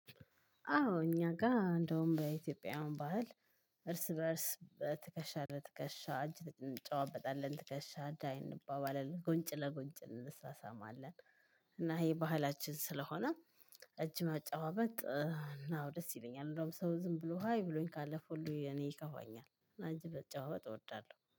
አዎ እኛ ጋር እንደውም በኢትዮጵያን ባህል እርስ በእርስ በትከሻ ለ ትከሻ እንጨዋበጣለን ትከሻ ዳይ እንባባለን ጉንጭ ለጉንጭ እንመሳሰማለን። እና ይሄ ባህላችን ስለሆነ እጅ መጨባበጥ እና ደስ ይለኛል። እንደውም ሰው ዝም ብሎ ሃይ ብሎኝ ካለፈ ሁሉ እኔ ይከፋኛል እና እንጂ መጨባበጥ እወዳለሁ